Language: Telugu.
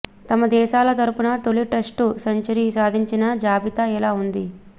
తమ దేశాల తరఫున తొలి టెస్టు సెంచరీ సాధించిన జాబితా ఇలా ఉంది